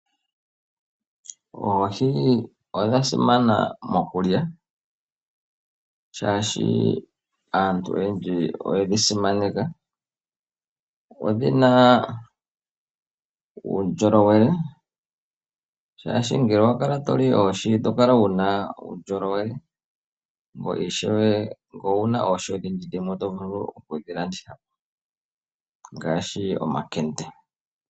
Oohi odha simana mokulya, shaashi aantu oyendji oyedhi simaneka. Odhina uundjolowele shaashi ngele owa kala toli oohi oto kala wuna uundjolowele ngoye ishewe ngele owuna oohi odhindji dhimwe oto vulu okudhilandithapo ngaashi omankende.